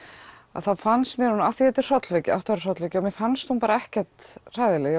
þá fannst mér af því þetta er hrollvekja hrollvekja mér fannst hún ekkert hræðileg